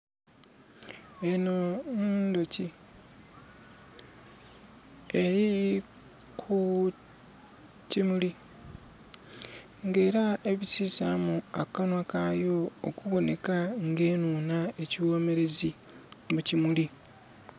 Eno nduuki eri ku kimuli nga era ebisizamu akanwa kaayo okuboneka nga enuunha ekiwomerezi mu kimuli